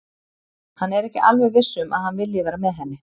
Hann er ekki alveg viss um að hann vilji vera með henni.